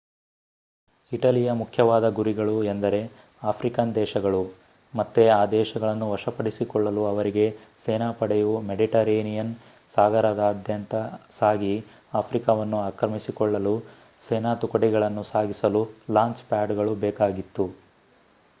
ಇಟಲಿಯ ಮುಖ್ಯವಾದ ಗುರಿಗಳು ಎಂದರೆ ಆಫ್ರಿಕನ್ ದೇಶಗಳು ಮತ್ತೆ ಈ ದೇಶಗಳನ್ನು ವಶಪಡಿಸಿಕೊಳ್ಳಲು ಅವರಿಗೆ ಸೇನಾಪಡೆಯು ಮೆಡಿಟರೇನಿಯನ್ ಸಾಗರದಾದ್ಯಂತ ಸಾಗಿ ಆಫ್ರಿಕಾವನ್ನು ಆಕ್ರಮಿಸಿಕೊಳ್ಳಲು ಸೇನಾ ತುಕಡಿಗಳನ್ನು ಸಾಗಿಸಲು ಲಾಂಚ್ ಪ್ಯಾಡ್ಗಳು ಬೇಕಾಗಿತ್ತು